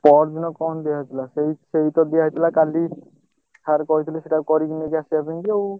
ପରଦିନ କଣ ଦିଆହେଇଥିଲା ସେଇ ସେଇତ ଦିଆହେଇଥିଲା କାଲି sir କହିଥିଲେ ସେଇଟାକୁ କରିକି ନେଇକି ଆସିବା ପାଇଁକି ଆଉ।